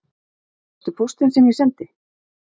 Fékkstu póstinn sem ég sendi